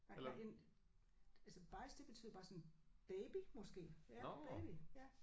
Nej nej en altså bajs det betyder bare sådan baby måske. Ja baby ja